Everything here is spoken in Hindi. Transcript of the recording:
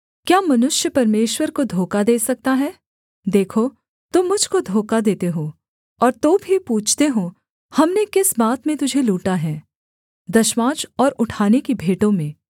क्या मनुष्य परमेश्वर को धोखा दे सकता है देखो तुम मुझ को धोखा देते हो और तो भी पूछते हो हमने किस बात में तुझे लूटा है दशमांश और उठाने की भेंटों में